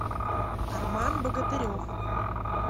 арман богатырев